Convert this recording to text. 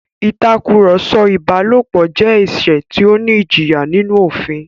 Ìtakùrọ̀sọ ìbálòpọ̀ jẹ́ ẹ̀ṣẹ̀ tó ní ìjìyà nínú òfin